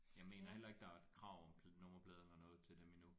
Jeg mener heller ikke der er et krav om nummerplade eller noget til dem endnu